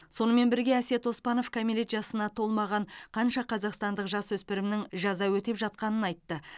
сонымен бірге әсет оспанов кәмелет жасына толмаған қанша қазақстандық жасөспірімнің жаза өтеп жатқанын айтты